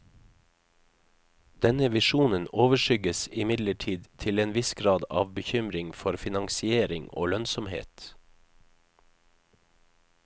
Denne visjonen overskygges imidlertid til en viss grad av bekymring for finansiering og lønnsomhet.